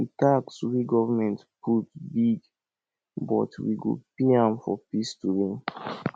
the tax wey government put big but we go pay am for peace to reign